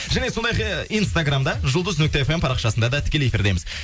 және сондайғы инстаграмда жұлдыз нүкте фм парақшасында да тікелей эфирдеміз